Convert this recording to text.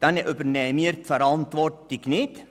Damit übernehmen wir die Verantwortung nicht.